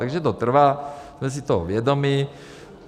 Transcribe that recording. Takže to trvá, jsme si toho vědomi.